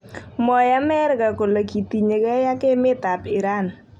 Mwoe Amerika kole kitinyegei ak emet ap Iran.